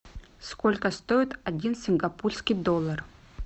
сколько стоит один сингапурский доллар